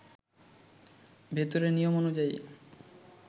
ভেতরে নিয়ম অনুযায়ী